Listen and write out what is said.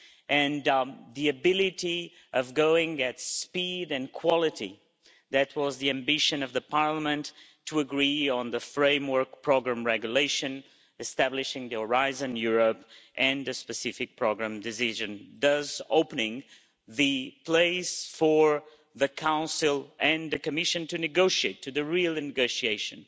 and the ability of going at speed and quality that was the ambition of Parliament to agree on the framework programme regulation establishing Horizon Europe and a specific programme decision, thus opening the way for the Council and the Commission to start the real negotiations.